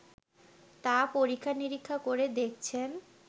তা পরীক্ষা-নিরীক্ষা করে দেখছেন